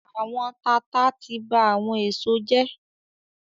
“Àwọn tata” ti ba àwọn èso jẹ́.